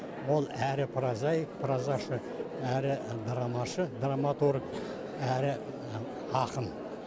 ол әрі прозаик прозашы әрі драмашы драматург әрі ақын